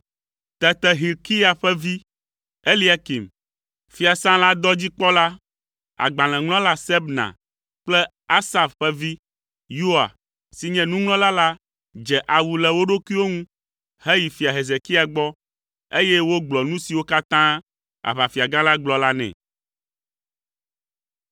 Tete Hilkia ƒe vi, Eliakim, fiasã la dɔdzikpɔla, agbalẽŋlɔla Sebna kple Asaf ƒe vi, Yoa, si nye nuŋlɔla la dze awu le wo ɖokuiwo ŋu heyi Fia Hezekia gbɔ, eye wogblɔ nu siwo katã aʋafiagã la gblɔ la nɛ.